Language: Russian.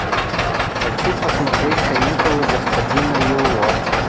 хочу посмотреть каникулы господина юло